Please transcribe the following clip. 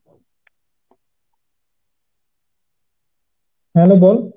hello বল